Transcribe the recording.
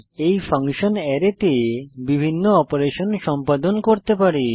এই ফাংশন অ্যারেতে বিভিন্ন অপারেশন সম্পাদন করতে পারে